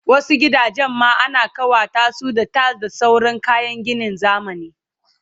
Wasu gidajen ma ana kawatasu da tiles da sauran kayan ginin zamani